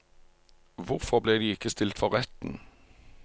Hvorfor ble de ikke stilt for retten?